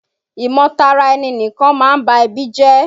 ìmọ-tara-ẹni-nìkan máa ń ba ẹbí jẹ́.